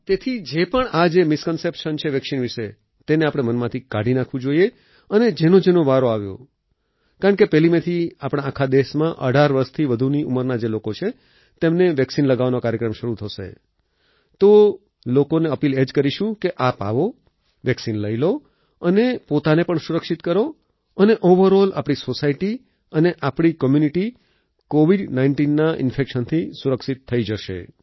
તેથી જે પણ આ મિસ્કોન્સેપ્શન છે વેક્સિન વિશે તેને આપણે મનમાંથી કાઢી નાખવું જોઈએ અને જેનોજેનો વારો આવ્યો કારણ કે 1 મે થી આપણા આખા દેશમાં 18 વર્ષથી વધુની ઉંમરના જે લોકો છે તેમને વેક્સિન લગાવવાનો કાર્યક્રમ શરૂ થશે તો લોકોને અપીલ એ જ કરીશું કે આપ આવો વેક્સિન લઈ લો અને પોતાને પણ સુરક્ષિત કરો અને ઓવરઓલ આપણી સોસાયટી અને આપણી કોમ્યુનિટી કોવિડ19ના ઈન્ફેક્શનથી સુરક્ષિત થઈ જશે